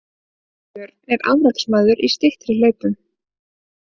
Björn er afreksmaður í styttri hlaupum